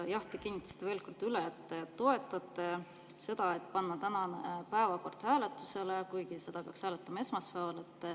Jah, te kinnitasite veel kord üle, et te toetate seda, et panna tänane päevakord hääletusele, kuigi seda peaks hääletama esmaspäeval.